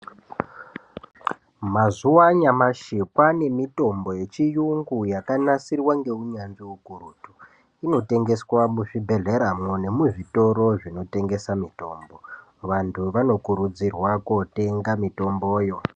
Mazuwa anyamashi kwane mitombo yechiyungu yakanasirwa ngeunyanzvi ukurutu inotengeswa muzvibhedhleramwo nemuzvitoro zvinotengesa mutombo vantu vanokurudzirwa kootenga mitomboyo.